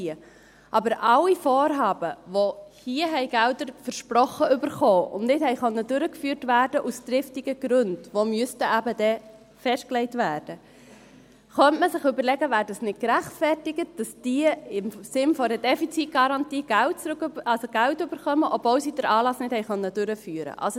Aber für alle Vorhaben, denen hier Gelder versprochen wurden und die aus triftigen Gründen, die dann eben festgelegt werden müssten, nicht durchgeführt werden konnten, könnte man sich überlegen, ob es gerechtfertigt wäre, dass sie im Sinn einer Defizitgarantie Geld erhalten, obwohl sie den Anlass nicht durchführen konnten.